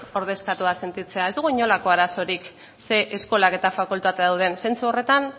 ordezkatuta sentitzea ez dugu inolako arazorik zein eskolak eta fakultateak daude zentzu horretan